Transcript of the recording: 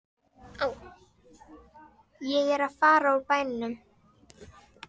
Ég er að fara úr bænum.